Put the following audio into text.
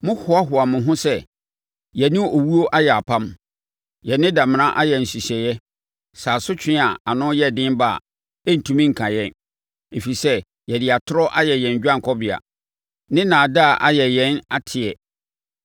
Mohoahoa mo ho sɛ, “Yɛ ne owuo ayɛ apam, yɛ ne damena ayɛ nhyehyɛeɛ sɛ asotwe a ano yɛ den ba a, ɛrentumi nka yɛn, ɛfiri sɛ yɛde atorɔ ayɛ yɛn dwanekɔbea ne nnaadaa ayɛ yɛn atɛeɛ.”